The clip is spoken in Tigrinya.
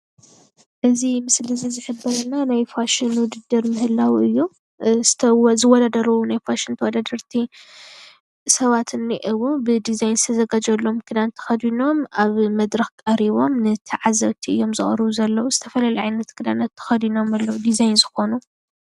እዚ ምስሊ እዚ ዝሕብረልና ናይ ፋሽን ዉድድር ምህላዉ እዩ። ዝውዳደሩ ናይ ፋሽን ተወዳደርቲ ሰባት እንኤዉ ብዲዛይን ዝተዘጋጀወሎም ክዳን ተኸዲኖም ኣብ መድረኽ ቀሪቦም ንተዓዘብቲ እዮም ዘቕርቡ ዘለዉ። ዝተፈላለየ ዓይነት ክዳናት ተኸዲኖም እዮም ዲዛይን ዝኾኑ።